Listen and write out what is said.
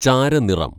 ചാരനിറം